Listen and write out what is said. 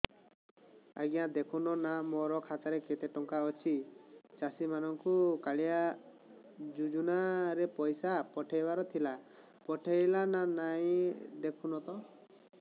ଆଜ୍ଞା ଦେଖୁନ ନା ମୋର ଖାତାରେ କେତେ ଟଙ୍କା ଅଛି ଚାଷୀ ମାନଙ୍କୁ କାଳିଆ ଯୁଜୁନା ରେ ପଇସା ପଠେଇବାର ଥିଲା ପଠେଇଲା ନା ନାଇଁ ଦେଖୁନ ତ